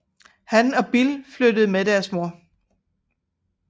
Han og Bill flyttede med deres mor